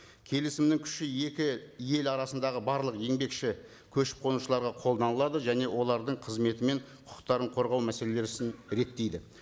келісімнің күші екі ел арасындағы барлық еңбекші көшіп қонушыларға қолданылады және олардың қызметі мен құқықтарын қорғау мәселесін реттейді